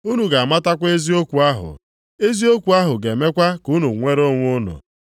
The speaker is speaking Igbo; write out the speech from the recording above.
Unu ga-amatakwa eziokwu ahụ, eziokwu ahụ ga-emekwa ka unu nwere onwe unu.”